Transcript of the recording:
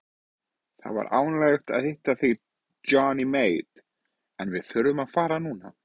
Það var ánægjulegt að hitta þig Johnny Mate en við þurfum að fara núna.